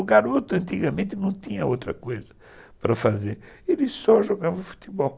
O garoto antigamente não tinha outra coisa para fazer, ele só jogava futebol.